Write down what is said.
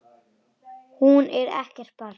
Hún er ekkert barn.